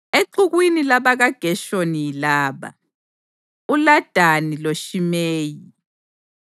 Exukwini labakaGeshoni yilaba: uLadani loShimeyi.